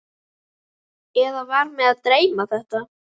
Eða var mig að dreyma þetta?